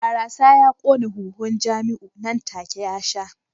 Barasa ya kona huhun Jamiu nan take ya sha